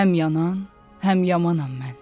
Həm yanan, həm yamanam mən.